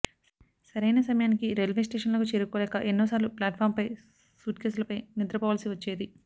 సరైన సమయానికి రైల్వే స్టేషనుకు చేరుకోలేక ఎన్నోసార్లు ప్లాట్ఫాంపై సూట్కేస్లపై నిద్ర పోవాల్సి వచ్చేది